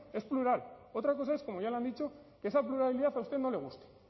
es plural otra cosa es como ya le han dicho que esa pluralidad a usted no le guste